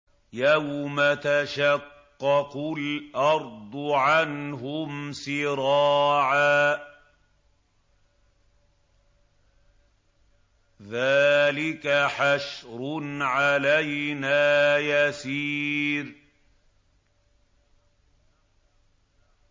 يَوْمَ تَشَقَّقُ الْأَرْضُ عَنْهُمْ سِرَاعًا ۚ ذَٰلِكَ حَشْرٌ عَلَيْنَا يَسِيرٌ